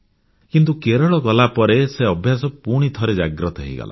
କିନ୍ତୁ କେରଳ ଗଲାପରେ ସେ ଅଭ୍ୟାସ ପୁଣିଥରେ ଜାଗ୍ରତ ହୋଇଗଲା